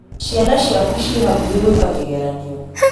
Ciana ciaku ci hakuhĩ gwĩka kĩgeranio